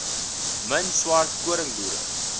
min swart koringboere